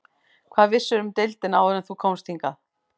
Hvað vissirðu um deildina áður en þú komst hingað?